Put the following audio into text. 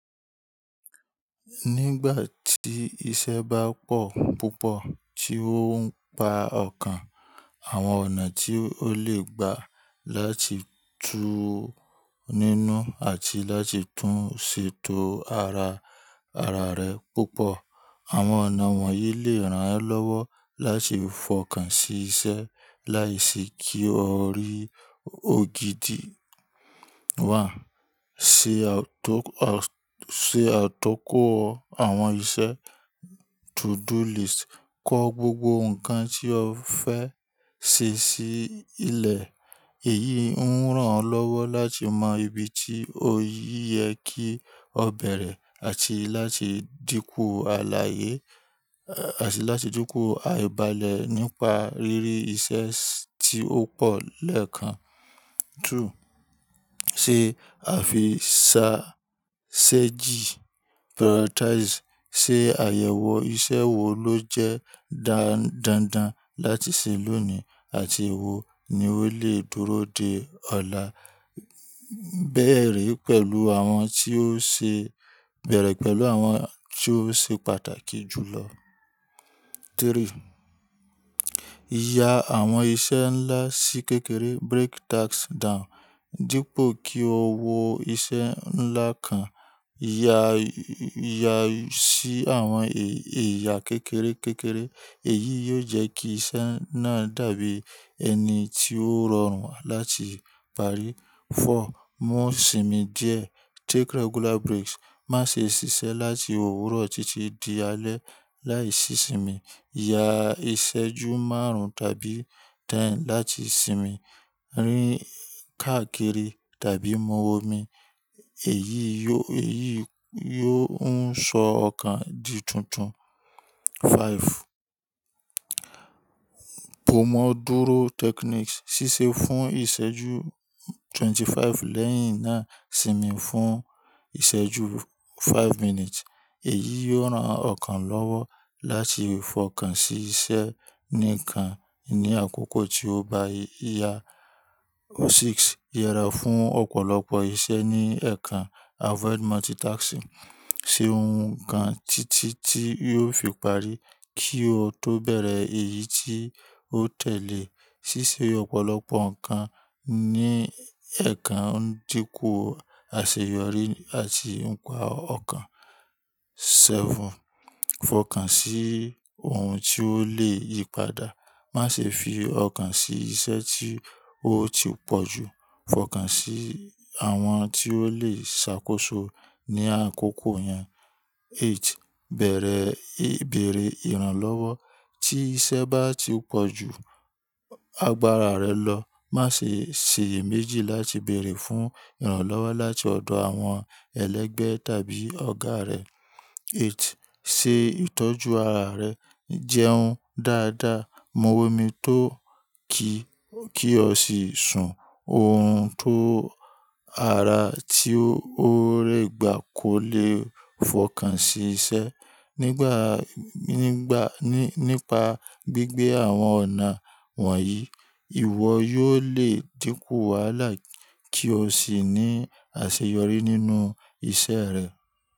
Nígbà tí iṣẹ́ bá pọ̀ púpọ̀ tí ó ń pa ọkàn, àwọn ọ̀nà tí ó le gbà láti tú ninú àti láti tún ṣètò ara, ara rẹ púpọ̀. Àwọn ọ̀nà wọ̀nyí lè rán ọ lọ́wọ́ láti fọkàn sí iṣẹ́ láìsí kí o rí ògidì. Se àtọ́kọ̀ àwọn iṣẹ́ to-do list. Kọ gbogbo nǹkan tí o fẹ́ ṣe sí ilẹ̀. Èyí ohun rán ọ lọ́wọ́ láti mọ ibi tí o yẹ kí o bẹ̀rẹ̀ àti láti dínkù àìbalẹ̀ nípa ríri iṣẹ́ tí ó pọ̀ lẹ́ẹ̀kan. Two, ṣe àfi sa strategy. Prioritize. Sé àyẹ̀wò iṣẹ́ wo ló jẹ́ dáa, dáńdán láti ṣe lónìí àti èwo ni ó lè dúró dé ọ̀la. Bẹ̀rẹ̀ pẹ̀lú àwọn tí ó ṣe, bẹ̀rẹ̀ pẹ̀lú àwọn tí ó ṣe pàtàkì jù lọ. Three, ya àwọn iṣẹ́ ńlá sí kékeré. Break tasks down. Dípò kí o wọ iṣẹ́ ńlá kan, ya, ya sí àwọn ẹ̀yà kékeré, kékeré. Èyí yóò jẹ́ kí iṣẹ́ náà dàbí ẹni tí ó rọrùn láti parí. Four, mú sinmi díẹ̀. Take regular breaks. Má ṣe ṣiṣẹ́ láti òwúrọ̀ títí di alẹ́ láì sí ìsinmi. Ya ìṣẹ́jú márùn-ún tàbí ten láti sinmi. Rí́n káàkiri tàbí mu omi. Èyí yóò, èyí yóò ń sọ ọkàn di tuntun. Five, Pomodoro Technique. Sísè fún ìṣẹ́jú twenty-five lẹ́yìn náà sinmi fún ìṣẹ́jú five minutes. Èyí yóò rán ọkàn lọ́wọ́ láti fọkàn sí iṣẹ́ níkan ni àkọ́kọ́ tí o bá yá. Six, yẹra fún ọ̀pọ̀lọpọ̀ iṣẹ́ ní ẹ̀kan. Avoid multitasking. Ṣe ohun kan títí tí yóò fi parí kí ó tó bẹ̀rẹ̀ èyí tí ó tẹ̀lé. Sísè ọ̀pọ̀lọpọ̀ ǹkan ní ẹ̀kan ń dínkù àṣeyọrí àti ń pa ọkàn. Seven, fọkàn sí ohun tí ó lè yípadà. Má ṣe fi ọkàn sí iṣẹ́ tí ó ti pọ̀ jù. Fọkàn sí àwọn tí ó lè ṣàkóso ní àkókò yẹn. Eight, bẹ̀rẹ̀ eh bẹ̀rẹ̀ ìrànlọ́wọ́. Tí iṣẹ́ bá ti pọ̀ ju agbára rẹ lọ, má ṣe ṣèye méjì láti bèèrè fún ìrànlọ́wọ́ láti ọ̀dọ̀ àwọn ẹlẹgbẹ́ tàbí ọ̀gá rẹ. Eight, ṣe ìtọ́jú ara rẹ. Jẹun dáadáa, mu omi tó kí, kí o sì sùn. Ohun tó ara tí ó rẹ gba kò le fọkàn sí iṣẹ́. Nígbà, nígbà, nípa gbígbé àwọn ọ̀nà wọ̀nyí, ìwọ yóò lè dínkù wàhálà kí o sì ní àṣeyọrí nínú iṣẹ́ rẹ.